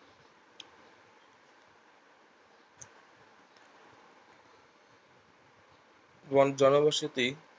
গণ জনবসতি